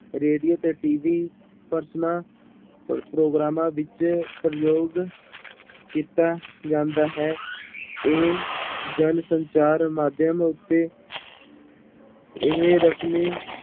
radio ਤੇ TV ਪਰਸਨਾਂ ਪ੍ਰਗੋਰਾਮਾਂ ਵਿੱਚ ਪ੍ਰਯੋਗ ਕੀਤਾ ਜਾਂਦਾ ਹੈ, ਇਹ ਜਨਸੰਚਾਰ ਮਾਧਿਅਮ ਉੱਤੇ ਇਹ ਰਸਮੀ